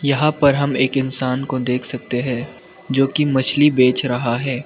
यहां पर हम एक इंसान को देख सकते हैं जो की मछली बेच रहा है।